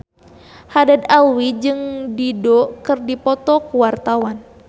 Haddad Alwi jeung Dido keur dipoto ku wartawan